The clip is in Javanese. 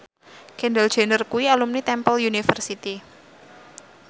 Kendall Jenner kuwi alumni Temple University